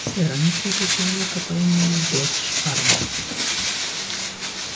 сэр они требуют человека по имени джордж парма